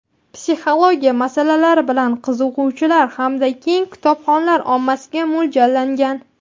psixologiya masalalari bilan qiziquvchilar hamda keng kitobxonlar ommasiga mo‘ljallangan.